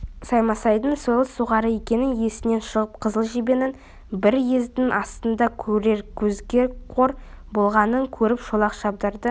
саймасайдың сойыл соғары екені есінен шығып қызыл жебенің бір ездің астында көрер көзге қор болғанын көріп шолақ шабдарды